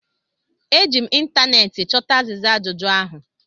Eji m ịntaneetị chọta azịza ajụjụ ahụ